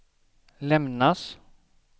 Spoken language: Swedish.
lämnas